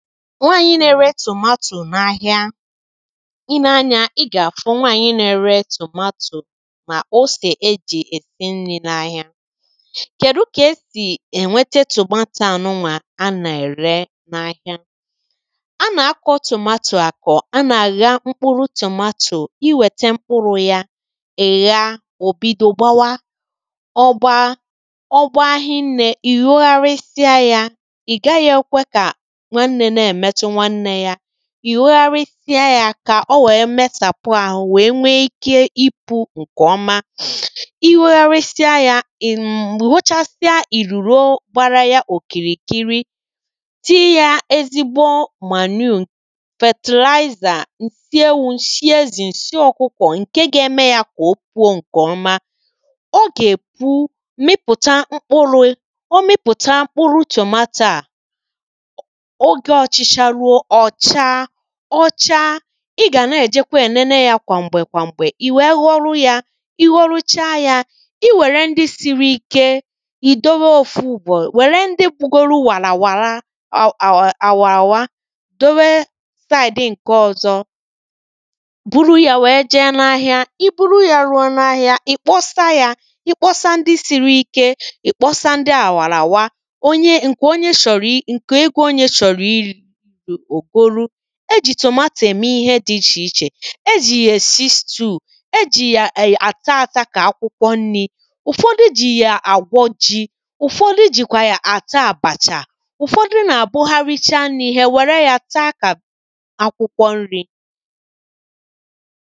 nwaànyị na-ere tòmatò n’ahịa i nee anyȧ ị gà-àfụ nwaànyị na-ere tòmatò ma osè ejì èsi nni̇ n’ahịa kèdu kà esì èwete tòmato à nụwà a nà-ère n’ahịa a nà-akọ tòmatò àkọ a nà-àgha mkpụrụ tòmatò i wète mkpụrụ̇ ya ị̀ gha ò bido gbawa ọ gbaa ọ gbaa ahịa nnė ì hogharịsịa yȧ ì hogharịsịa yȧ kà o wèe mesàpụ ȧhụ wèe wee ike ipu̇ ǹkè ọma, i hogharịsịa yȧ, ị̀ m̀mụ hochasịa ìrùro gbara yȧ òkìrìkiri tiyi yȧ ezigbo manure fertilizer, ǹsị ewu̇, ǹshị ezì, ǹshị ọ̀kụkọ̀ ǹke ga-eme yȧ kà o kwuo ǹkè ọma o gà-èpu mịpụ̀ta mkpụrụ̇ o mịpụ̀ta mkpụrụ chọmaàta ọ̀cha ọcha ị gà na-èjekwa ènene yȧ kwàm̀gbè kwàm̀gbè ì wèe họrụ yȧ ihọrụcha yȧ i wère ndị siri ike ì dowe ofu ugbȯ wère ndị bugolo wàlàwàra àwà àwàràwa dowe side ǹke ọ̇zọ buru yȧ wèe jee n’ahịa i buru yȧ ruo n’ahịa ì kpọsa yȧ i kpọsa ndị siri ike ì kpọsa ndị àwàràwa onye ǹkè onye shọ̀rọ̀ i ǹkè ego onye shọ̀rọ̀ iri̇ e jì tòmatò ème ihe dị ichè ichè, e jì yà èsi stew, e jì yà àta ȧta kà akwụkwọ nri̇ ụ̀fọdụ jì yà àgwọ ji̇ ụ̀fọdụ jìkwà yà àta àbàchà ụ̀fọdụ nà-àbụ ha richaa nri̇ hà ènwère ya taa kà akwụkwọ nri̇